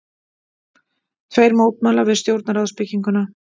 Tveir mótmæla við stjórnarráðsbygginguna